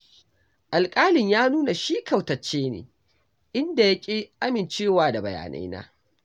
Alƙalin ya nuna shi kautacce ne, inda ya ƙi amincewa da bayanaina.